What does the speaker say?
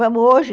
Vamos hoje?